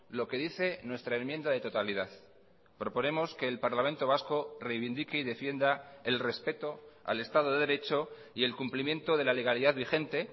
lo que dice nuestra enmienda de totalidad proponemos que el parlamento vasco reivindique y defienda el respeto al estado de derecho y el cumplimiento de la legalidad vigente